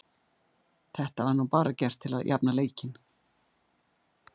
Þetta var nú bara gert til þess að jafna leikinn.